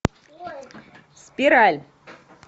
спираль